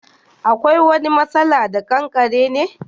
Akwai wani masala da Kankare ne?